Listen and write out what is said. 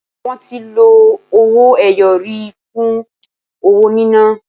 Wọ́n ti lọ owó ẹyọ rí fún owó níná.